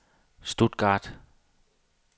Stuttgart